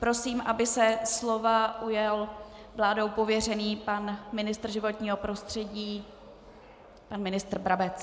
Prosím, aby se slova ujal vládou pověřený pan ministr životního prostředí pan ministr Brabec.